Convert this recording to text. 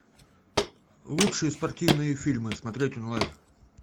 лучшие спортивные фильмы смотреть онлайн